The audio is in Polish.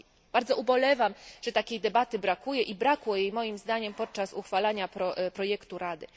Bardzo ubolewam, że takiej debaty brakuje i zabrakło jej, moim zdaniem, podczas uchwalania projektu Rady.